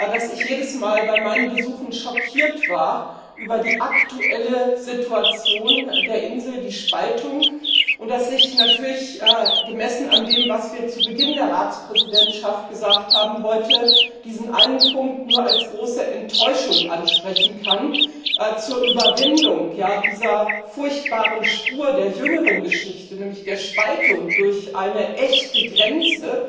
dass ich bei meinen Besuchen jedes Mal über die aktuelle Situation der Insel schockiert war, über die Spaltung, und dass ich natürlich gemessen an dem, was wir zu Beginn der Ratspräsidentschaft gesagt haben heute diesen einen Punkt nur als große Enttäuschung ansprechen kann. Zur Überwindung dieser furchtbaren Spur der jüngeren Geschichte, nämlich der Spaltung durch eine echte Grenze